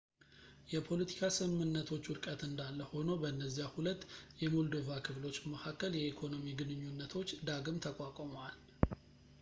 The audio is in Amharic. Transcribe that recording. የፖለቲካ ስምምነቶች ውድቀት እንዳለ ሆኖ በነዚያ ሁለት የሞልዶቫ ክፍሎች መካከል የኢኮኖሚ ግንኙነቶች ዳግም ተቋቁመዋል